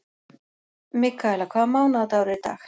Mikaela, hvaða mánaðardagur er í dag?